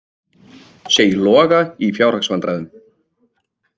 Segir Loga í fjárhagsvandræðum